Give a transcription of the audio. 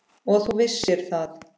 Og þú vissir það.